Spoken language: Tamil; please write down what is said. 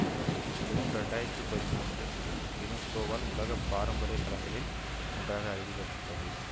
ஜூன் இரண்டு ஆயிரத்தி பதிமூன்றி யுனெஸ்கோவால் உலக பாரம்பரிய களங்களில் ஒன்றாக அறிவிக்கப்பட்டது